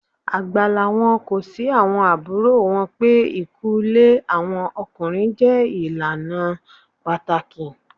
Àgbàláwọn kọ̀ sí àwọn abúrò wọn pé ìkúlé àwọn ọkùnrin jẹ́ ilana pataki.